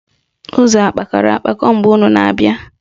Ụzọ kpakọrọ akpakọ mgbe unu na-abịa?